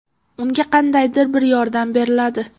Unga qandaydir bir yordam beriladi.